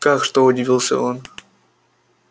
как что удивился он